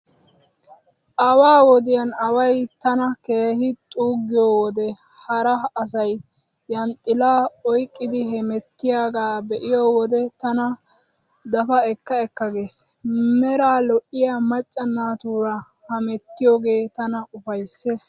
Awaa wodiyan away tana keehi xuuggiyo wode hara asay yanxxilaa oyqqidi hemettiyaagaa be'iyo wode tana dapa ekka ekka gees. Meraa lo'iyaa macca naatuura hemettiyoogee tana ufayssees.